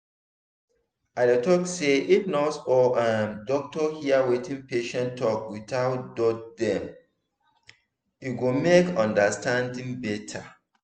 i dey talk say if nurse or um doctor hear wetin patient talk without judge deme go make understanding better